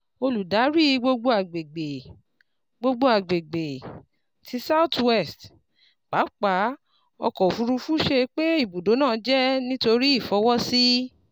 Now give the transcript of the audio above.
Oludari Gbogbogbo Agbegbe, Gbogbogbo Agbegbe, ti South West, Papa ọkọ ofurufu sọ pe ibudo naa jẹ nitori ifọwọsi